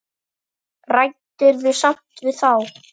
Ræddirðu samt við þá?